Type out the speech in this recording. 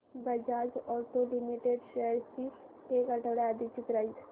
Bajaj auto limited shares ची एक आठवड्या आधीची प्राइस